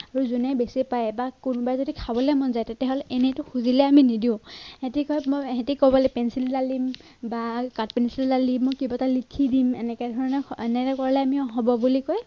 আৰু জোনে বেছি পায় বা কোনোবাই যদি খাবলৈ মন যায় তেতিয়াহলে এনেটো খুজিলে আমি নিদিও, হেতি কয় মই হেতি কব লাগিব পেঞ্চিল এডাল দিম বা কাঠপেঞ্চিল এডাল দিম, মই কিবা এটা লিখি দিম এনেকে ধৰণৰ এনেকে কলে আমি হ'ব বুলি কৈ